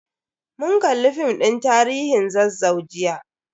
Mun kalli film din tarihin Zazzau jiya.